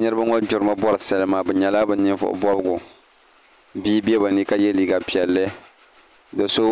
Niraba ŋo gbirimi bori salima bi nyɛla bi ninvuɣu bobgu bia bɛ bi ni ka yɛ liiga piɛlli do so